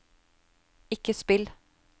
ikke spill